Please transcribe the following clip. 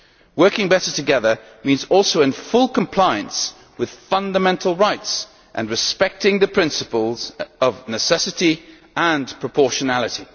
Working better together means also in full compliance with fundamental rights and respecting the principles of necessity and proportionality.